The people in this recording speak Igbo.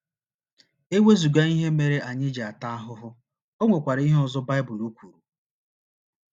E wezụga ihe mere anyị ji ata ahụhụ, o nwekwara ihe ọzọ Baịbụl kwuru.